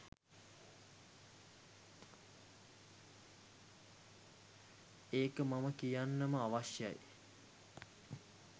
ඒක මම කියන්නම අවශ්‍යයි.